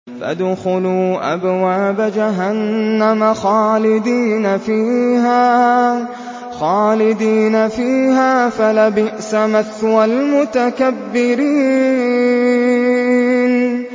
فَادْخُلُوا أَبْوَابَ جَهَنَّمَ خَالِدِينَ فِيهَا ۖ فَلَبِئْسَ مَثْوَى الْمُتَكَبِّرِينَ